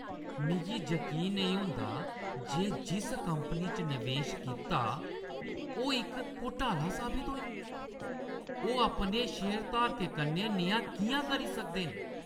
मिगी यकीन नेईं होंदा जे में जिस कंपनी च नवेश कीता ओह् इक घोटाला साबत होई। ओह् अपने शेयरधारकें कन्नै नेहा किʼयां करी सकदे न?